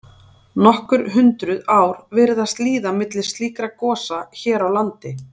Nokkur hundruð ár virðast líða milli slíkra gosa hér á landi.